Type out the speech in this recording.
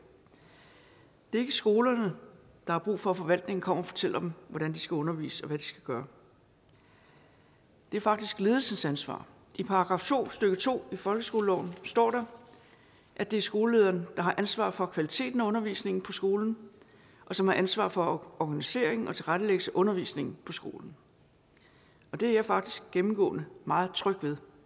det er ikke skolerne der har brug for at forvaltningen kommer og fortæller hvordan de skal undervise og hvad de skal gøre det er faktisk ledelsens ansvar i § to stykke to i folkeskoleloven står der at det er skolelederen der har ansvaret for kvaliteten af undervisningen på skolen og som har ansvaret for organiseringen og tilrettelæggelsen af undervisningen på skolen og det er jeg faktisk gennemgående meget tryg ved